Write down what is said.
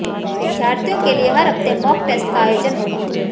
विद्यार्थियों के लिए हर हफ्ते मॉक टेस्ट का आयोजन होगा